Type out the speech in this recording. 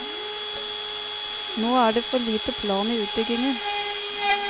Nå er det for lite plan i utbyggingen.